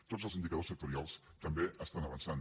tots els indicadors sectorials també estan avançant